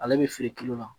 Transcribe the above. Ale bɛ feere la